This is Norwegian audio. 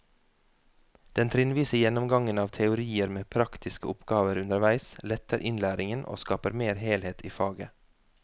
Den trinnvise gjennomgangen av teorien med praktiske oppgaver underveis letter innlæringen og skaper mer helhet i faget.